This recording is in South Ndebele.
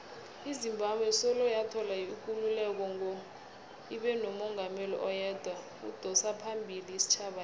izimbabwe soloyathola ikululeko ngo ibenomungameli oyedwa odosaphambili isitjhaba lesa